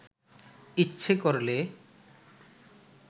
ইচ্ছে করলে